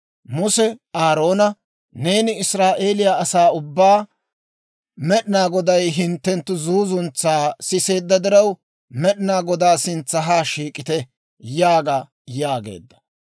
Muse Aaroona, «Neeni Israa'eeliyaa asaa ubbaa, ‹Med'inaa Goday hinttenttu zuuzuntsaa siseedda diraw, Med'inaa Godaa sintsa haa shiik'ite› yaaga» yaageedda.